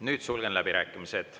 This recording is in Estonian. Nüüd sulgen läbirääkimised.